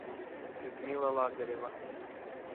людмила лазарева